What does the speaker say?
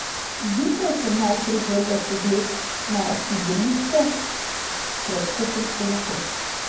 Zjutraj sem najprej vrgel pogled na sidrišče pred koprsko luko.